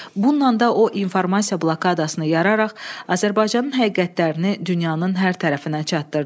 Bununla da o informasiya blokadasını yararaq Azərbaycanın həqiqətlərini dünyanın hər tərəfinə çatdırdı.